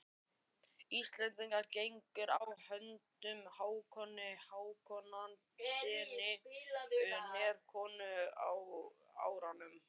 Íslendingar gengu á hönd Hákoni Hákonarsyni Noregskonungi á árunum